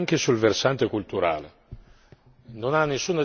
Non ha nessuna giustificazione una violenza di questa natura.